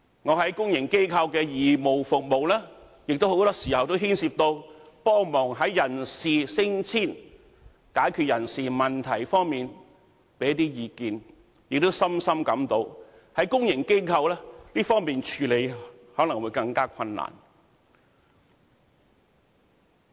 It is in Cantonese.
我在公營機構的義務服務，很多時候亦牽涉協助人事升遷、在解決人事問題方面提供意見，亦深深感到公營機構在這方面的處理可能會更困難。